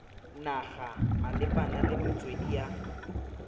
naga malebana le metswedi ya